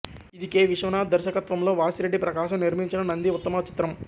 ఇది కె విశ్వనాథ్ దర్శకత్వంలో వాసిరెడ్డి ప్రకాశం నిర్మించిన నంది ఉత్తమ చిత్రం